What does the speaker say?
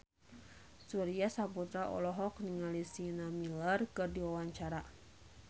Surya Saputra olohok ningali Sienna Miller keur diwawancara